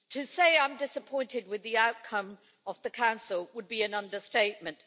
To say I'm disappointed with the outcome of the Council would be an understatement.